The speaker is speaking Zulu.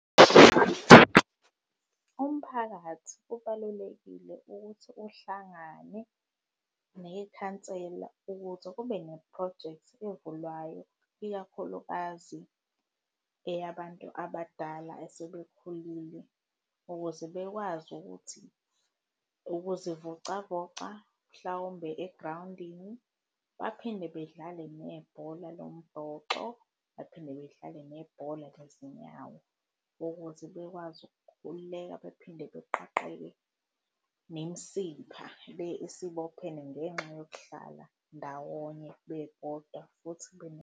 Umphakathi kubalulekile ukuthi uhlangane nekhansela ukuze kube nephrojekthi evulwayo, ikakhulukazi eyabantu abadala esebekhulile, ukuze bekwazi ukuthi ukuzivocavoca mhlawumbe egrawundini, baphinde bedlale nebhola lombhoxo baphinde bedlale nebhola lezinyawo ukuthi bekwazi ukukhululeka bephinde beqasheke nemisipha le esibophene ngenxa yokuhlala ndawonye bebodwa futhi .